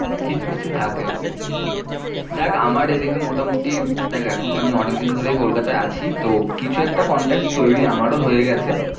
কিছু কিছু থাকে ওরকম দেখ আমার এই দিকে মোটামুটি উম দেখ আমি এখন অনেক দিন ধরেই কলকাতায়ে আছি তো কিছু একটা contacts তৈরি আমার ও হয়েগেছে